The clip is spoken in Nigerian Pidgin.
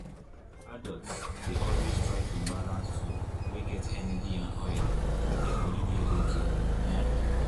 adults dey always try to balance food wey get energy and oil make their body dey okay. um